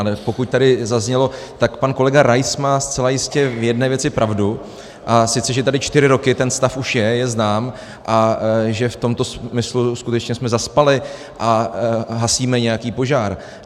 Ale pokud tady zaznělo, tak pan kolega Rais má zcela jistě v jedné věci pravdu, a sice že tady čtyři roky ten stav už je, je znám, a že v tomto smyslu skutečně jsme zaspali a hasíme nějaký požár.